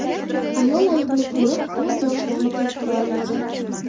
Ayol ayiqni ko‘rib ko‘z yoshlarini tiyib tura olmadi.